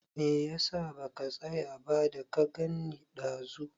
Me ya sa baka tsaya ba, da ka gan ni ɗazu?